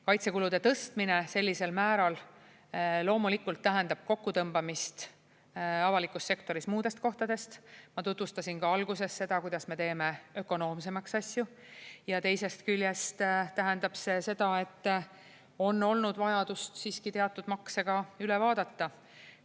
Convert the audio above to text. Kaitsekulude tõstmine sellisel määral loomulikult tähendab kokkutõmbamist avalikus sektoris muudest kohtadest – ma tutvustasin alguses ka seda, kuidas me teeme asju ökonoomsemaks – ja teisest küljest tähendab see seda, et on olnud vajadust siiski teatud makse üle vaadata.